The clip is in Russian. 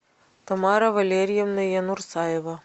тамара валерьевна янурсаева